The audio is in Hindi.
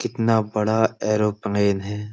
कितना बड़ा ऐरोपनेल है।